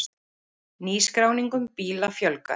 Nýskráningum bíla fjölgar